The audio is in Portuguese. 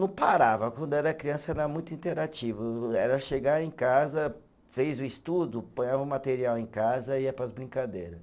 Não parava, quando era criança era muito interativo, era chegar em casa, fez o estudo, ponhava o material em casa e ia para as brincadeira.